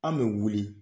An bɛ wuli